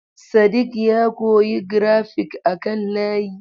Sadiq ya koyi grafik a kan layi.